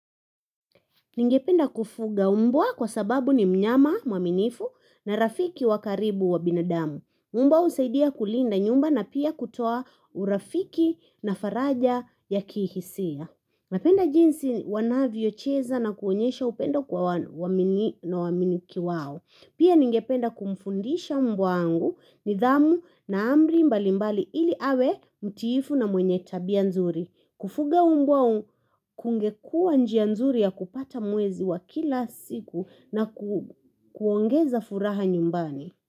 Ningependa kufuga umbwa kwa sababu ni mnyama, mwaminifu na rafiki wakaribu wa binadamu. Umba husaidia kulinda nyumba na pia kutoa urafiki na faraja ya kihisia. Napenda jinsi wanavyocheza na kuonyesha upendo kwa wamiliki wao. Pia ningependa kumfundisha umbwa wangu nidhamu na amri mbali mbali ili awe mtiifu na mwenye tabia nzuri. Kufuga umbwa kungekuwa njia nzuri ya kupata mwezi wa kila siku na kuongeza furaha nyumbani.